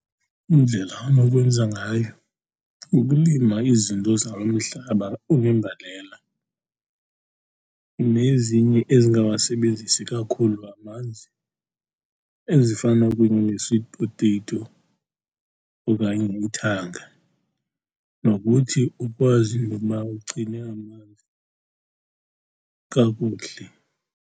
Indlela anokwenza ngayo kukulima izinto zalo mhlaba unembalela nezinye ezingawasebenzisi kakhulu amanzi, ezifana kunye ne-sweet potato okanye ithanga, nokuthi ukwazi into yokuba ugcine amanzi kakuhle.